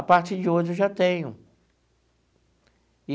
A partir de hoje, eu já tenho.